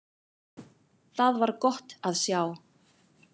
Það var gott að sjá.